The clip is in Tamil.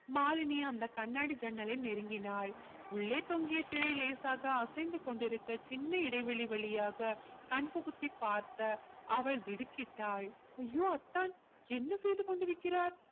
மாலினி அந்த கண்ணாடி ஜன்னலை நெருங்கினாள் உள்ளே தொங்கிய திரை லேசாக அசைந்து கொண்டிருக்க சின்ன இடைவெளி வழியாக கண் புகுத்தி பார்த்த அவள் திடுக்கிட்டாள் அய்யோ அத்தான் என்ன செய்து கொண்டிருக்கிறார்